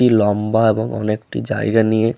ই লম্বা এবং অনেকটি জায়গা নিয়ে--